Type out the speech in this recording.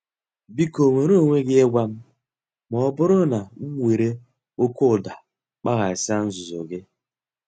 Biko nweere onwe gị ịgwa m ma ọ bụrụ na m were oke ụda kpaghasịa nzuzo gị.